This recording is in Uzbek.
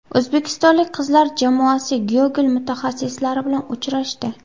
O‘zbekistonlik qizlar jamoasi Google mutaxassislari bilan uchrashdi.